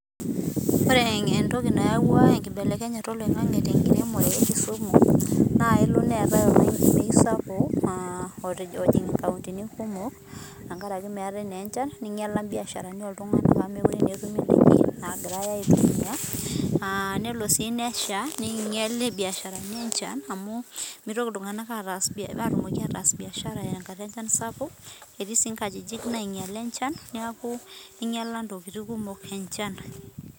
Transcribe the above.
ore entoki nayawua enkibelekenyata oloingani tenkiremore naa kelo nelotu olameyu sapuk naakelo ninyal imbiasharani oleng ore sii doi enchan sapuk naa kinyal siininye ntokitin pii